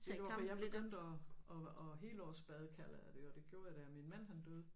Ved du hvorfor jeg begyndte at at at helårsbade kalder jeg det jo det gjorde jeg da min mand han døde